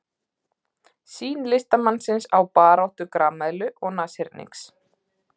Sýn listamanns á baráttu grameðlu og nashyrningseðlu.